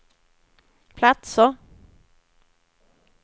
platser